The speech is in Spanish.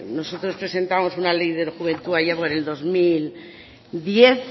nosotros presentamos una ley de juventud allá por el dos mil diez